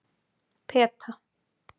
Peta